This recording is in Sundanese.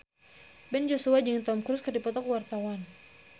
Ben Joshua jeung Tom Cruise keur dipoto ku wartawan